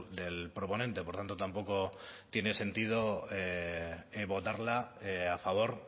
del proponente por tanto tampoco tiene sentido votarla a favor